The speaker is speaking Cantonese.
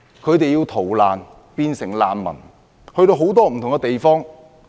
他們成為難民，要逃難到不同地方。